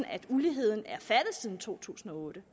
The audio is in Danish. at uligheden er faldet siden år to tusind og otte